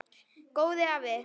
Góði afi.